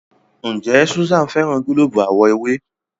Njé Susan féràn gilobu àwo ewé?